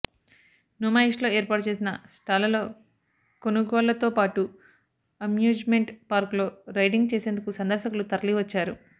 నుమాయిష్లో ఏర్పాటు చేసిన స్టాళ్లలో కొనుగోళ్లతో పాటు అమ్యూజ్మెంట్ పార్కులో రైడింగ్ చేసేందుకు సందర్శకులు తరలివచ్చారు